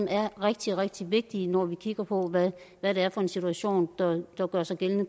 er rigtig rigtig vigtigt når vi kigger på hvad hvad det er for en situation der gør sig gældende